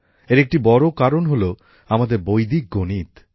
এর একটি বড় কারণ হল আমাদের বৈদিক গণিত